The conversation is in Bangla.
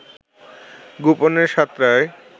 গোপনে সাঁতরায়